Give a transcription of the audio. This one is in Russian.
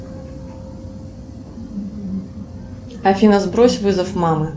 афина сбрось вызов мамы